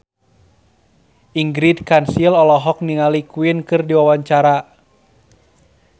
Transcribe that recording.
Ingrid Kansil olohok ningali Queen keur diwawancara